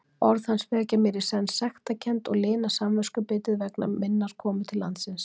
Orð hans vekja mér í senn sektarkennd og lina samviskubitið vegna komu minnar til landsins.